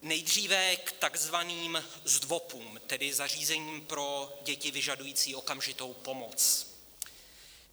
Nejdříve k takzvaným zdvopům, tedy zařízením pro děti vyžadující okamžitou pomoc.